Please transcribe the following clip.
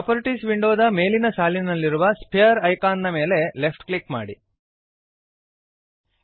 properties ವಿಂಡೋದ ಮೇಲಿನ ಸಾಲಿನಲ್ಲಿರುವ ಸ್ಫಿಯರ್ ಐಕಾನ್ ದ ಮೇಲೆ ಲೆಫ್ಟ್ ಕ್ಲಿಕ್ ಮಾಡಿರಿ